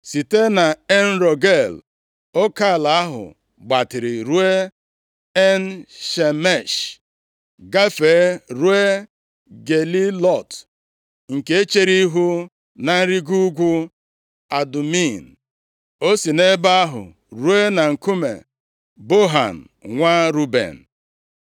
Site nʼEn Rogel oke ala ahụ gbatịrị ruo En-Shemesh, gafee ruo Gelilọt, nke chere ihu na nrigo ugwu Adumim. O si nʼebe ahụ ruo na nkume Bohan, nwa Ruben.